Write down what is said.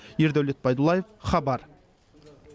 ердәулет байдуллаев хабар